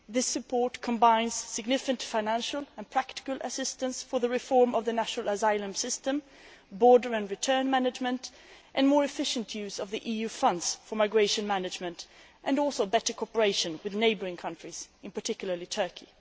This support combines significant financial and practical assistance for the reform of the national asylum system, border and return management, and more efficient use of the EU funds for migration management and also better cooperation with neighbouring countries, in particular, Turkey.